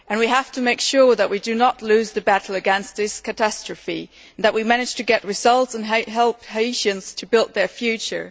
We have to make sure that we do not lose the battle against this catastrophe and that we manage to get results and help Haitians to build their future.